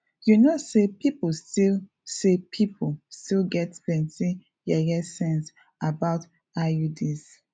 you know say people still say people still get plenty yeye sense about iuds